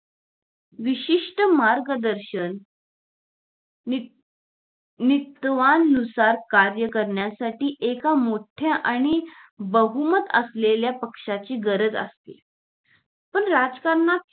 विशिष्ट मार्गदर्शन नि नित्वानुसार कार्य करण्यासाठी एका मोठ्या आणि बहुमत असलेल्या पक्षाची गरज असते पण राजकारणात